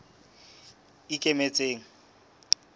ikemetseng